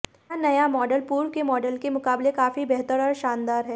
यह नया मॉडल पूर्व के मॉडल के मुकाबले काफी बेहतर और शानदार है